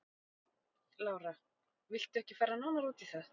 Lára: Viltu ekki fara nánar út í það?